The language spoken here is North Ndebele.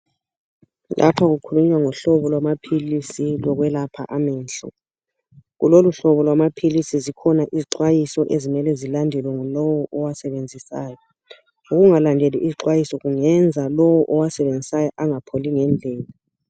Lapho kukhulunywa ngohlobo lwamaphilisi lokwelapha amehlo. Kuloluhlobo lamaphilisi zikhona izixwayiso ezimele zilandelwe ngulowu owasebenzisayo. Ukungalaleli izixwayiso kungenza lowo owasebenzisayo engapholi ngendlela.